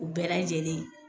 U bɛɛ lajɛlen